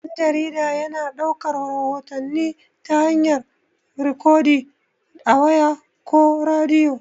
Dan-jarida yana daukar rahotanni ta hayar rikodin a waya, ko rediyo.